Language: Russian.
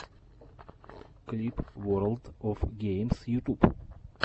клип ворлд оф геймс ютуб